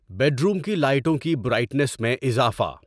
bedroom کی لائٹوں کی برائٹنیس میں اضافہ